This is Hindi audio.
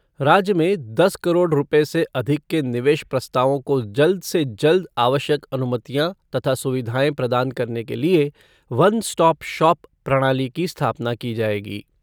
राज्य में दस करोड़ रूपए से अधिक के निवेश प्रस्तावों को जल्द से जल्द आवश्यक अनुमतियां तथा सुविधाएं प्रदान करने के लिए ' वन स्टॉप शॉप ' प्रणाली की स्थापना की जाएगी।